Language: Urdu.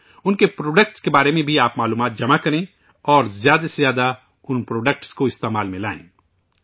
ان کے پروڈکٹ کےبارے میں بھی آپ جانکاری حاصل کریں اور زیادہ سے زیادہ ان پروڈکٹس کو استعمال میں لائیں